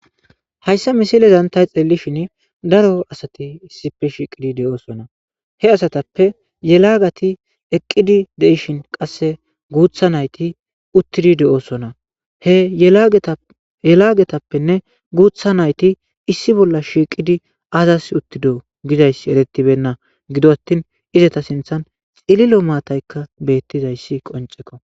Hayssa missilezan tay xellishin daro asati issipe shiqqidi de7osona he asatappe yeelagati eqqidi deishin qasse guuththa nayiti uutidi de'ossona he yelagatappene guththa nayti issi bolla shiqidi azas uttido gizayssi eretibeynna gido attin izetta sinththan cililo maatayka bettizayssi qonccekko.